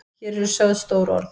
Hér eru sögð stór orð.